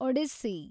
Odissi